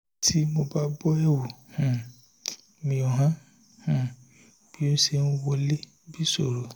tí mo bá bọ́ ẹ̀wù um mi ó hàn um bí ó ṣe ń wọlé bí ìṣòro